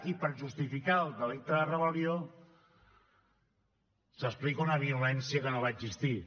i per justificar el delicte de rebel·lió s’explica una violència que no va existir